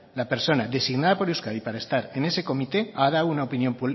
la persona designada por euskadi para estar en ese comité ha dado una opinión